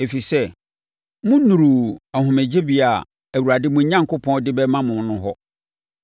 ɛfiri sɛ, monnuruu ahomegyebea a Awurade mo Onyankopɔn de rebɛma mo no hɔ.